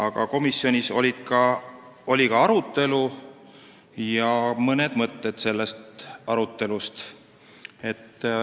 Ka komisjonis oli eelnõu üle arutelu ja toon teieni mõned mõtted sellest arutelust.